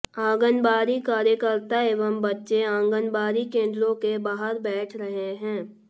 आंगनबाड़ी कार्यकर्ता एवं बच्चे आंगनबाड़ी केंद्रों के बाहर बैठ रहे हैं